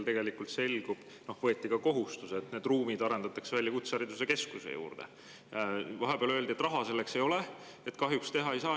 Võeti ka kohustus, et need ruumid arendatakse välja kutsehariduskeskuse juurde, aga vahepeal öeldi, et raha selleks ei ole, kahjuks seda teha ei saa.